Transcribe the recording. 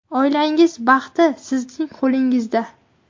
Oilangiz baxti sizning qo‘lingizda!